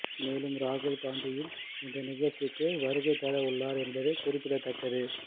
மேலும் ராகுல் காந்தியும் இந்த நிகழ்ச்சிக்கு வருகை தர உள்ளார் என்பது குறிப்பிடத்தக்கது